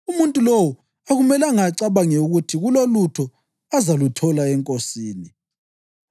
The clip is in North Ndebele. Umuntu lowo akumelanga acabange ukuthi kulolutho azaluthola eNkosini;